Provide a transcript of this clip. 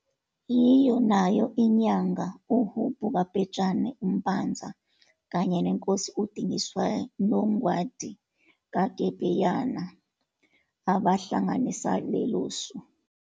Yilona nayo iNyanga uHubhu kaBhejane Mpanza kanye neNkosi uDingiswayo noNgwadi kaGebdeyana abahalanganisa lelosu.